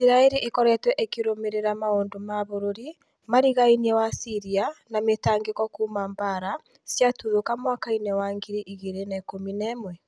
Isiraĩri ĩkoretwo ĩkĩrũmĩrĩra maũndũ ma bũrũri ma rĩgainie wa syria na mĩtangĩko kuma mbara ciatuthũka mwaka-inĩ wa ngiri igĩrĩ na ikũmi na ĩmwe